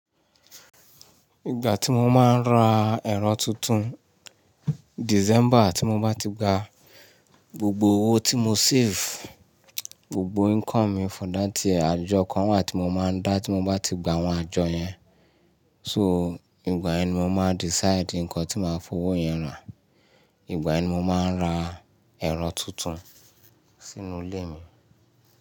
Ìgbà tí mo máa ń ra ẹ̀rọ tuntun, December tí mo bá ti gba gbogbo owó tí mo save, gbogbo income mi for that year àjọ kan wà tí mo máa ń dá tí mo bá ti gba àwọn àjọ yẹn. So, ìgbà ẹni mò máa decide nǹkan tí màá fowó yẹn rà, ìgbà ẹni mò máa ń ra ẹ̀rọ tuntun sínú ilé mi.